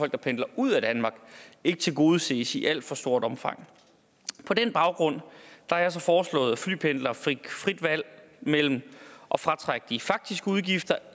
der pendler ud af danmark ikke tilgodeses i alt for stort omfang på den baggrund har jeg så foreslået at flypendlere fik frit valg mellem at fratrække de faktiske udgifter